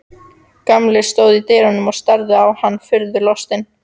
Gamli stóð í dyrunum og starði á hana furðu lostinn.